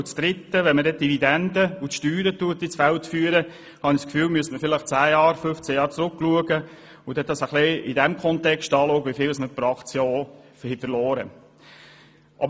Zum dritten Punkt: Wenn man die Dividenden und die Steuern ins Feld führt, muss man vielleicht zehn oder 15 Jahre zurückschauen und in Betracht ziehen, wieviel man pro Aktie verloren hat.